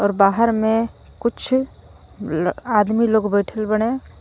और बाहर में कुछ आदमी लोग बैठल बाड़े